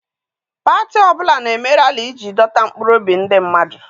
Pati ọbụla na-eme rali iji dọta mkpụrụobi ndị mmadụ.